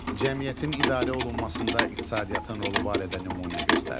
Cəmiyyətin idarə olunmasında iqtisadiyyatın rolu barədə nümunə göstərin.